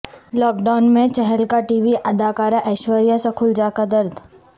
lock down میں چھلکا TV اداکارہ ایشوریہ سکھوجا کا درد